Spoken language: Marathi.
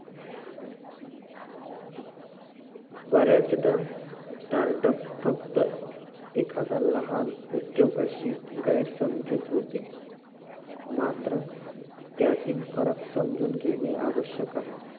बऱ्याचदा startup फक्त एखाद्या लहान व्यक्तीशी गैरसमजूत होते मात्र त्यातील फरक समजून घेणे आवश्यक आहे